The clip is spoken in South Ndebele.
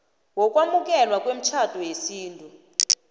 wokwamukelwa kwemitjhado yesintu